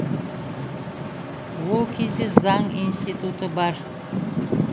ол кезде заң институты бар